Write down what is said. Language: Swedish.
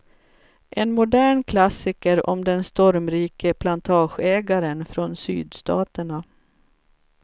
En modern klassiker om den stormrike plantageägaren från sydstaterna.